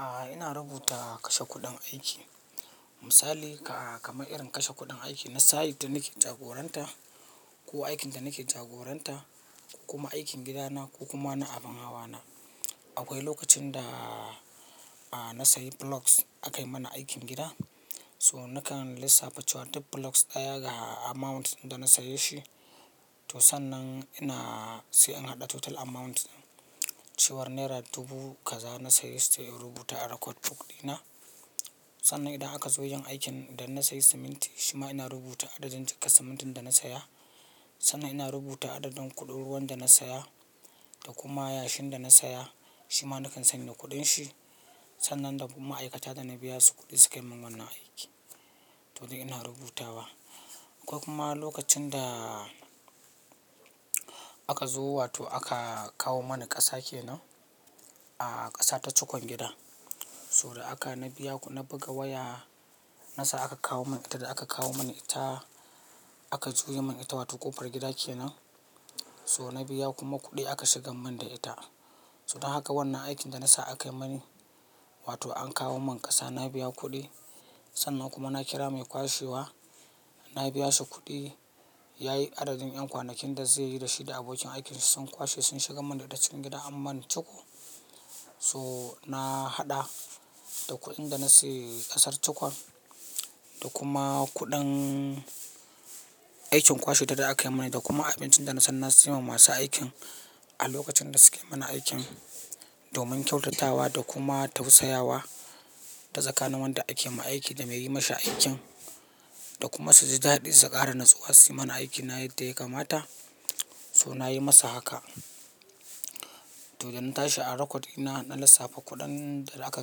A'a, ina rubuta kashe kuɗin aiki. Misali kamar irin kashe kuɗin aiki na site da nake jagoranta ko aikin da nake jagoranta, ko kuma aikin gidana ko kuma na abun hawana. Akwai lokacin da na sayi blocks aka yi mana aikin gida. So nakan lissafa cewar duk blocks ɗaya ga amount da na saye shi. To, sannan ina sai in haɗa total amount. Cewar naira dubu kaza na sayi, sai in rubuta a record book ɗina. Sannan idan aka zo yin aikin da na sayi siminti, shima ina rubuta adadin jakar simintin da na saya. Sannan ina rubuta adadin kuɗin ruwan da na saya da kuma yashin da na saya, shima nakan sanya kuɗin shi. Sannan da kuma ma'aikata da na biya su kuɗi suka yi min wannan aiki. To dai ina rubuta wa. Akwai kuma lokacin da aka zo wato aka kawo mani ƙasa kenan, ƙasa ta cukon gida. So da aka, na biya kudi, na buga waya na sa aka kawo mani ita da aka kawo mani ita aka juyi mani ita, wato ƙofar gida kenan. So na biya kuma kuɗi aka shigar min da ita. So dan haka wannan aikin da na sa aka yi mani, wato an kawo min ƙasa na biya kuɗi. Sannan kuma na kira mai kwashewa, na biya shi kuɗi. Yayi adadin ƴan kwanakin da zai yi da shi da abokin aikin shi sun kwashe sun shigar min data cikin gida an mani cuko. So na haɗa da kuɗin da na sayi ƙasar cukon da kuma kuɗin aikin kwashe da za a yi mani da kuma abincin da na san na siyowa masu aikin a lokacin da suka yi min aikin. Domin kyautatawa da kuma tausayawa ta tsakanin wanda ake masa aiki da mai yi mashi aikin da kuma su ji dadi su ƙara natsuwa su yi mana aikin yadda ya kamata. So na yi masa haka. To da na tashi a record ɗina na lissafa kuɗin da aka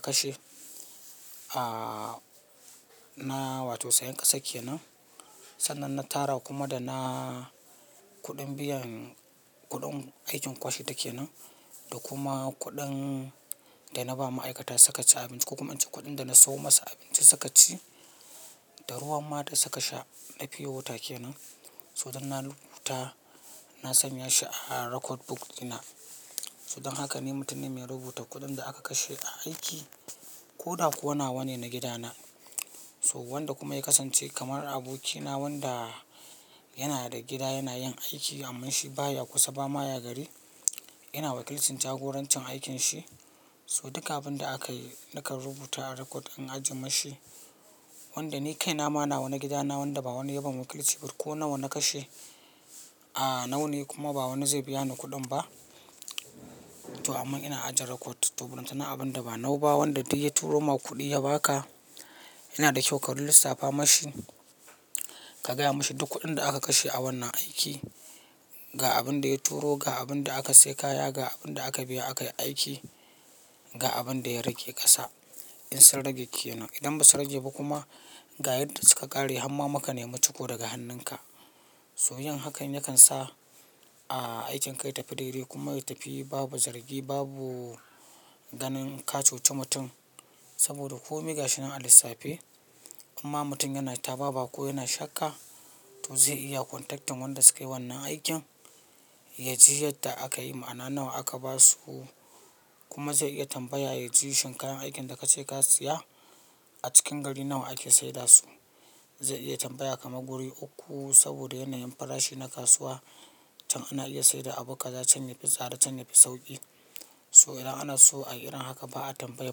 kashe, a, na wato sayan ƙasa kenan. Sannan na tara kuma da na kuɗin biyan kuɗin aikin kwashe ta kenan da kuma kuɗin da na ba ma'aikata sukaci abinci ko kuma in ce kuɗin da na siyo masu abinci sukaci da ruwan ma da suka sha na pure water ke nan. So duk na rubuta, na sanya shi a record book dina. So dan haka ni mutum ne mai rubuta kuɗin da aka kashe a aiki ko da kuwa nawa ne na gidana. So wanda kuma ya kasance kamar abokina wanda yana da gida yana yin aiki amman shi ba ya kusa ba ma ya gari. Yana wakilcin jagorancin aikinsa. So duk abin da aka yi nakan rubuta a record in ajiye mashi. Wanda ni kai na ma nawa na gidana wanda ba wani ya ban wakilci ba ko nawa na kashe, a, nawa ne kuma ba wani zai biya ni kuɗin ba. To amma ina ajiye record. To burina abun da ba nawa ba wanda duk ya turo ma kuɗi ya baka, yana da kyau ka lissafa mashi, ka gaya mashi duk kuɗin da aka kashe a wannan aiki. Ga abin da ya turo, ga abin da aka sayi kaya, ga abin da aka biya aka yi aiki, ga abin da ya rage ƙasa in sun rage kenan. Idan ba su rage ba kuma, ga yadda suka ƙare har ma muka nemi cuko daga hannunka. So yin hakan yakan sa, a, aikin ka ya tafi daidai kuma ya tafi babu zargi babu ganin ka cuci mutum. Saboda ko me gashi nan a lissafe, in ma mutum yana taba ba ko yana shakka, to zai iya contact wanda suka yi wannan aikin, ya ji yadda aka yi, ma'ana nawa aka ba su kuma zai iya tambaya ya ji shin kayan aikin da ka ce ka siya a cikin garin nan wa ke sayar da su. Zai iya tambaya kamar guri uku saboda yanayin farashi na kasuwa can ana iya sayar da abu kaza can yafi tsada can yafi sauƙi. So idan ana so a irin haka ba a tambayi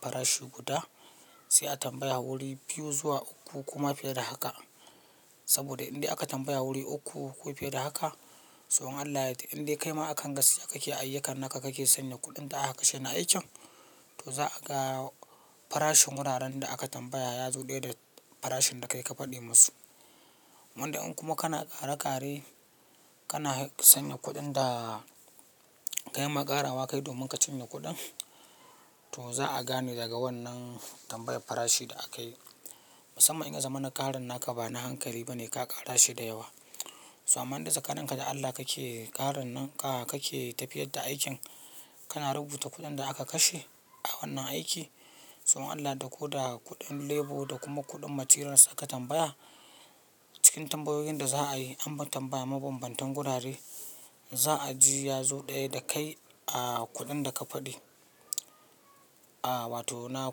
farashi guda, sai a tambaya guri biyu zuwa uku koma fiye da haka. Saboda indai aka tambaya guri uku ko fiye da haka, to in Allah inde kaima akan gasiya kake ayyukan naka kake sanya kuɗin da aka kashe na aikin, to za'a ga farashin guraren da aka tambaya ya zo ɗaya da farashin da kai ka faɗi musu. Wanda in kuma kana ƙara ƙare, kana sanya kuɗin da kai ma ƙarawa kai domin ka cinye kuɗin, to za'a gane daga wannan tambayar farashi da aka yi. Musamman in ka zama na ƙarin naka ba na hankali bane ka ƙara shi da yawa. So amma idan tsakaninka da Allah kake ƙarin nan, kake tafiyar da aikin, kana rubuta kuɗin da aka kashe a wannan aiki. To in Allahko da kuɗin labour da kuma kuɗin materials aka tambaya cikin tambayoyin da za'a yi an tambaya mabambantan gurare, za'a ji ya zo ɗaya da kai, a, kuɗin da ka faɗi, a, wato nawa.